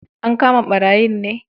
An kama ɓarayin ne